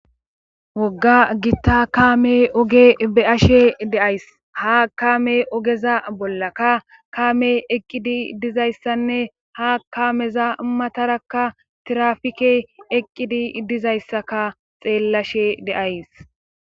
Wogga gitta kaame oge be ashe de'ays ha kaame ogeza bollaka kaame eqqidi dizayssanne ha kameza matarakka tirafike eqqidi dizayssaka xeellashe de'ays.